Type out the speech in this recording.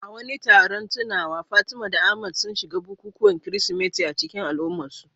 A wani taron tunawa, Fatima da Ahmad sun shiga bukukuwan Kirsimeti a cikin al'ummarsu.